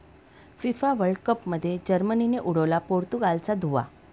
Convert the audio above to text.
FIFA world कपमध्ये जर्मनीने उडवला पोर्तुगालचा धुव्वा